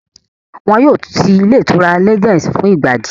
Wọ́n yóò ti ilé ìtura Legend fún ìgbà díẹ̀